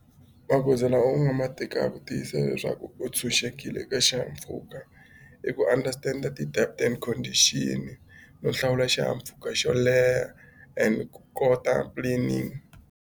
Magoza lawa u nga ma tekaka ku tiyisisa leswaku u tshunxekile eka xihahampfhuka i ku understand and condition no hlawula xihahampfhuka xo leha and ku kota planning.